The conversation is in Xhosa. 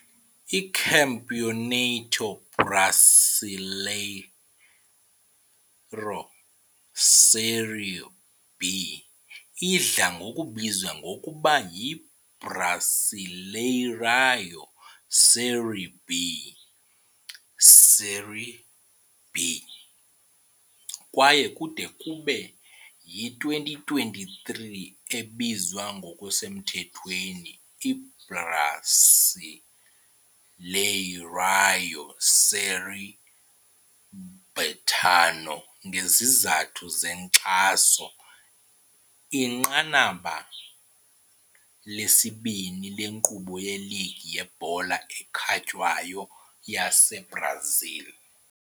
ICampeonato Brasileiro Série B idla ngokubizwa ngokuba yi yiBrasileirão Série B Série B, kwaye kude kube yi-2023 ebizwa ngokusemthethweni iBrasileirão Série Betano ngezizathu zenkxaso inqanaba lesibini lenkqubo yeligi yebhola ekhatywayo yaseBrazil.